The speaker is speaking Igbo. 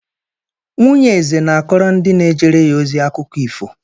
Nwunye eze na-akọrọ ndị na-ejere ya ozi akụkọ ifo.